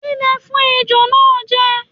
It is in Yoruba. Kí ni ẹ fún Ejò náà jẹ?